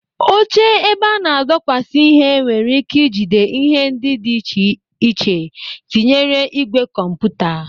Oche ebe a na-adọkwasị ihe nwere ike ị jide ihe ndị dị iche iche tinyere ígwè kọmputa.